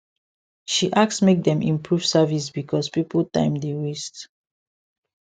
she ask make dem improve service because people time dey waste